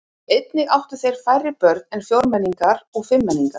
Einnig áttu þeir færri börn en fjórmenningar og fimmmenningar.